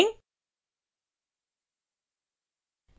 फिर edit पर click करें